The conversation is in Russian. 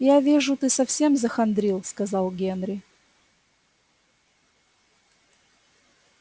я вижу ты совсем захандрил сказал генри